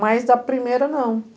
Mais da primeira, não.